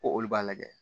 Ko olu b'a lajɛ